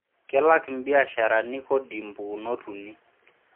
Kelak mbiasharani kodi mpukunot uni.